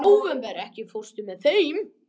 Nóvember, ekki fórstu með þeim?